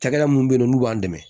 Cakɛda minnu be yen n'u b'an dɛmɛ